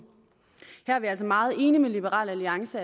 her er vi altså meget enige med liberal alliance